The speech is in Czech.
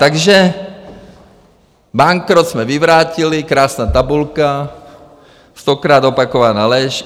Takže bankrot jsme vyvrátili - krásná tabulka, stokrát opakovaná lež.